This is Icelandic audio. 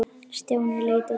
Stjáni leit á Döddu.